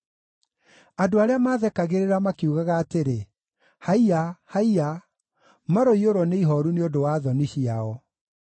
Andũ arĩa maathekagĩrĩra makiugaga atĩrĩ, “Haiya! Haiya!” Maroiyũrwo nĩ ihooru nĩ ũndũ wa thoni ciao.